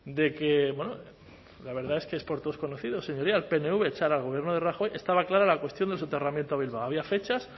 de que bueno la verdad es que es por todos conocido señorías el pnv echara al gobierno de rajoy estaba clara la cuestión del soterramiento a bilbao había fechas